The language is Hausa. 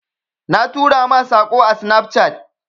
Na tura ma Sako ã Snapchat.